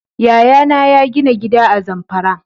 Yaya na ya gina gida a Zamfara